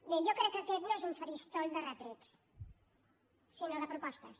bé jo crec que aquest no és un faristol de retrets sinó de propostes